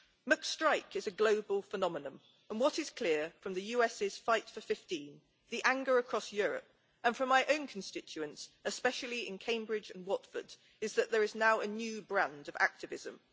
McStrike is a global phenomenon and what is clear from the US's Fight for 15, the anger across Europe and from my own constituents, especially in Cambridge and Watford, is that there is now a new brand of activism.